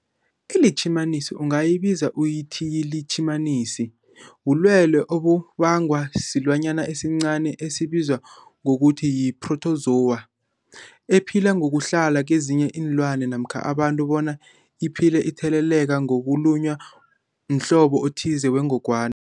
ILitjhimanisi ungayibiza uthiyilitjhimanisi, bulwelwe obubangwa silwanyana esincani esibizwa ngokuthiyi-phrotozowa ephila ngokuhlala kezinye iinlwana namkha abantu bona iphile itheleleka ngokulunywa mhlobo othize wengogwana.